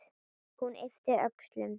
Hún yppti öxlum.